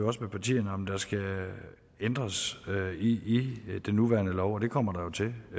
også med partierne om der skal ændres i den nuværende lov og det kommer der jo til at